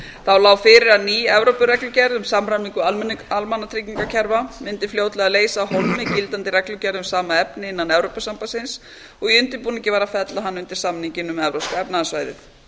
þá lá fyrir að ný evrópureglugerð um samræmingu almannatryggingakerfa mundi fljótlega leysa af hólmi gildandi reglugerð um sama efni innan evrópusambandsins og í undirbúningi var að fella hana undir samninginn um evrópska efnahagssvæðið